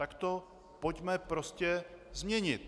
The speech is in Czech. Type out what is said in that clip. Tak to pojďme prostě změnit.